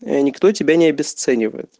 я никто тебя не обесценивает